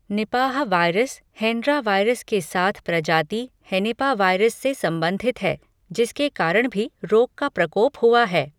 Nipah virus Hendra virus के साथ प्रजाति हेनिपावायरस से संबंधित है, जिसके कारण भी रोग का प्रकोप हुआ है।